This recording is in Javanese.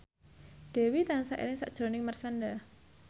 Dewi tansah eling sakjroning Marshanda